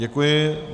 Děkuji.